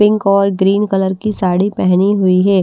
Pink और green colour की साड़ी पहनी हुई है।